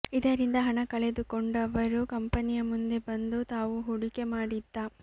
ಇದರಿಂದ ಹಣ ಕಳೆದುಕೊಂಡವರು ಕಂಪನಿಯ ಮುಂದೆ ಬಂದು ತಾವು ಹೂಡಿಕೆ ಮಾಡಿದ್ದ